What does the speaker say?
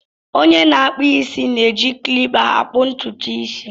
Onye na-akpụ isi na-eji klipa akpụ ntutu isi.